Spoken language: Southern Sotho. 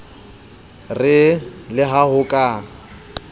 re le ha ho ka